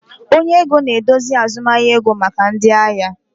Onye ego na-eduzi azụmahịa ego maka ndị ahịa